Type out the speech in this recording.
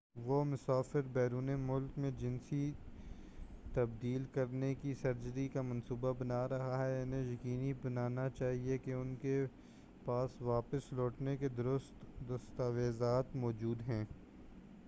وہ مسافر بیرون ملک میں جنسی تبدیل کرنے کی سرجری کا منصوبہ بنا رہے ہیں انہیں یقینی بنانا چاہئے کہ ان کے پاس واپس لوٹنے کے درست دستاویزات موجود ہیں